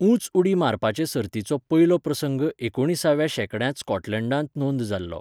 उंच उडी मारपाचे सर्तीचो पयलो प्रसंग एकुणिसाव्या शेंकड्यांत स्कॉटलंडांत नोंद जाल्लो.